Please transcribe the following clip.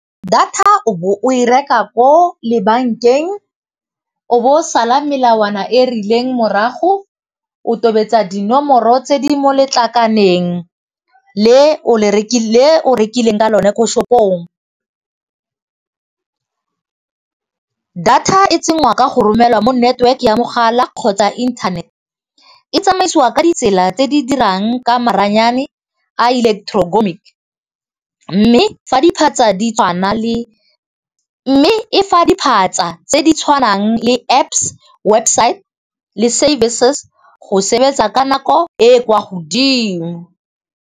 Data o e reka ko bankeng o bo o sala melawana e rileng morago, o tobetsa dinomoro tse di mo letlakaleng le o rekileng ka lone ko shopong. Data e tsenngwa ka go romelwa mo network ya mogala kgotsa internet, e tsamaisiwa ka ditsela tse di dirang ka maranyane a electro mme e fa diphatsa tse ditshwanang le Apps, website le services go sebetsa ka nako e kwa godimo.